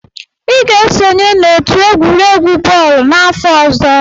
Ị ga-esonye n'otu egwuregwu bọọlụ n'afọ ọzọ!